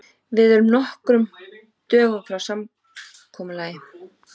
Við erum nokkrum dögum frá samkomulagi.